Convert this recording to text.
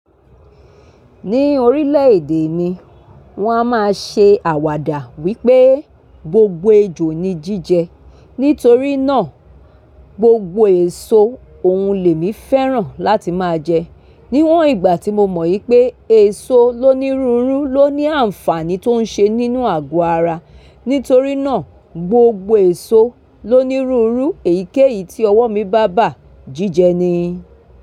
Ní orílẹ̀ èdè mi, wọ́n a máa ṣe àwàdà wípé gbogbo ejò ni jíjẹ nítorí náà gbogbo èso òun lè mi fẹ́ràn láti máa jẹ. Níwọn ìgbà tí mo mọ ìpé èso lónírunrú ló ní ànfàní tó ń ṣe nínú àgọ ara, nítorí náà gbogbo èso lónírunrú èyíkéyìí tí ọwọ́ mi bá bà jíjẹ ni.